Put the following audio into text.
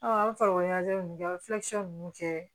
an bɛ farikolo ɲɛnajɛ min kɛ an bɛ fula kisɛ ninnu kɛ